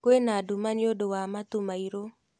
Kwĩna nduma nĩũndũ wa matu mairũ